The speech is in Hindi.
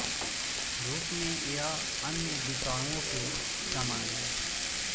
रूप में यह अन्य विषाणुओं के समान है